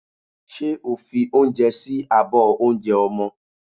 Ṣé o fi oúnjẹ sí abọ́ oúnjẹ ọmọ?